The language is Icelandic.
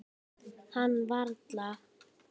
Kann varla.